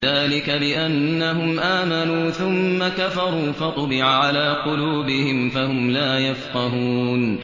ذَٰلِكَ بِأَنَّهُمْ آمَنُوا ثُمَّ كَفَرُوا فَطُبِعَ عَلَىٰ قُلُوبِهِمْ فَهُمْ لَا يَفْقَهُونَ